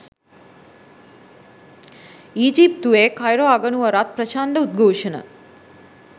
ඊජිප්තුවේ Cairo අගනුවරත් ප්‍රචණ්ඩ උද්ඝෝෂණ